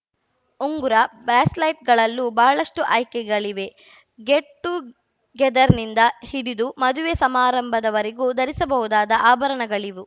ಉಂಗುರ ಬ್ರೇಸ್‌ಲೈಟ್‌ಗಳಲ್ಲೂ ಬಹಳಷ್ಟುಆಯ್ಕೆಗಳಿವೆ ಗೆಟ್‌ಟುಗೆದರ್‌ನಿಂದ ಹಿಡಿದು ಮದುವೆ ಸಮಾರಂಭದವರೆಗೂ ಧರಿಸಬಹುದಾದ ಆಭರಣಗಳಿವು